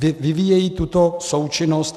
Vyvíjejí tuto součinnost?